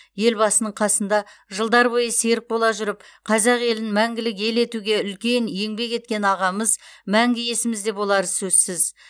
елбасының қасында жылдар бойы серік бола жүріп қазақ елін мәңгілік ел етуге үлкен еңбек еткен ағамыз мәңгі есімізде болары сөзсіз